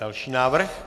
Další návrh.